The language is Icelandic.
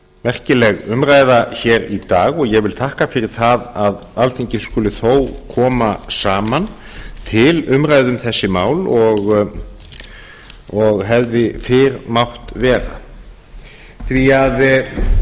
merkileg umræða hér í dag og ég vil þakka fyrir það að alþingi skuli þó koma saman til umræðu um þessi mál og hefði fyrr mátt vera því að það